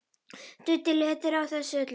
Nudd léttir á þessu öllu.